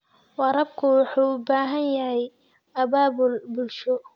Waraabka waxa uu u baahan yahay abaabul bulsho.